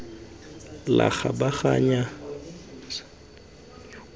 la kgabaganyo la tshiamelo ylrr